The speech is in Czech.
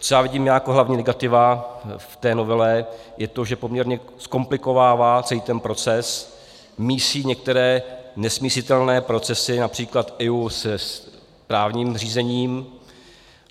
Co já vidím jako hlavní negativa v té novele, je to, že poměrně zkomplikovává celý ten proces, mísí některé nesmísitelné procesy, například EIA se správním řízením.